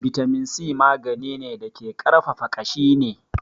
Bitamin C magani ne da ke ƙarfafa ƙashi ne